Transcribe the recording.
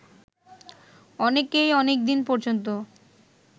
অনেকেই অনেকদিন পর্যন্ত